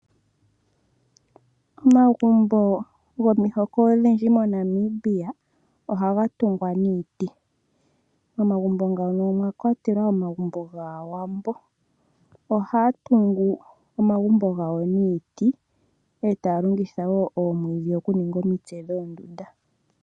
Omagumbo gomihoko odhindji moNamibia ohaga tungwa niiti. Momagumbo ngano omwa kwatelwa omagumbo gaawambo . Ohaya tungu omagumbo gawo niiti etaya longitha wo omwiidhi oku ninga omitse dhoondunda .